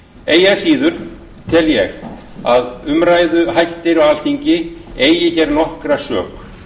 eigi að síður tel ég að umræðuhættir á alþingi eigi hér nokkra sök